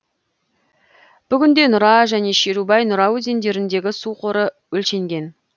бүгінде нұра және шерубай нұра өзендеріндегі су қоры өлшенген